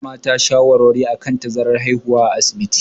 Ana ba mata shawarwari akan tazarar haihuwa a asibiti.